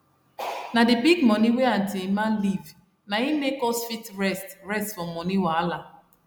na d big money wey auntie emma leave na hin make us fit rest rest for moni wahala